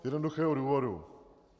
Z jednoduchého důvodu.